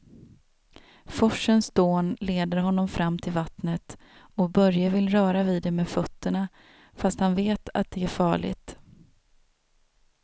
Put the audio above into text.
Forsens dån leder honom fram till vattnet och Börje vill röra vid det med fötterna, fast han vet att det är farligt.